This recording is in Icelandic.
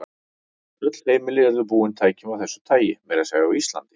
Öll heimili yrðu búin tækjum af þessu tagi, meira að segja á Íslandi.